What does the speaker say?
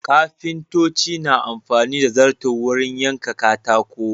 Kafintoci na amfani da zarto wurin yanka katako.